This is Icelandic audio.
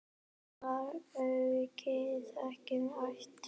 Var maukið ekki ætt?